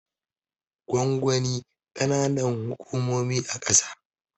Gwangwani kananan hukumomi a kasa